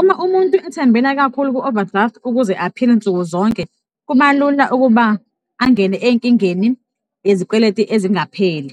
Uma umuntu ethembela kakhulu ku-overdraft ukuze aphile nsuku zonke, kuba lula ukuba angene enkingeni yezikweleti ezingapheli.